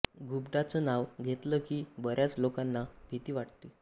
घुबडाच नाव घेतलं कि बऱ्याच लोकांना भीती वाटते